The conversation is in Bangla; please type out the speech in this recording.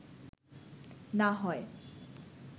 না হয়